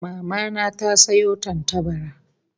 Mama na ta sayo tantabara